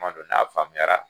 N b'a don na faamuyara.